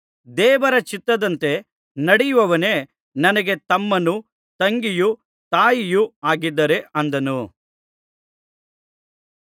ದೇವರ ಚಿತ್ತದಂತೆ ನಡೆಯುವವನೇ ನನಗೆ ತಮ್ಮನೂ ತಂಗಿಯೂ ತಾಯಿಯೂ ಆಗಿದ್ದಾರೆ ಅಂದನು